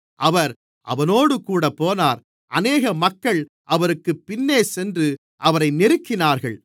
அவர் அவனோடுகூட போனார் அநேக மக்கள் அவருக்குப் பின்னேசென்று அவரை நெருக்கினார்கள்